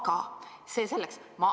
Aga see selleks.